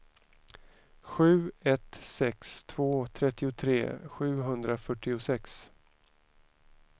sju ett sex två trettiotre sjuhundrafyrtiosex